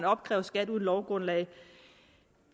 opkræves skat uden lovgrundlag